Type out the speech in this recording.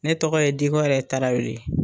Ne tɔgɔ ye Dikɔrɛ Tarawele.